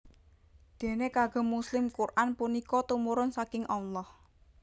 Déné kagem muslim Quran punika tumurun saking Allah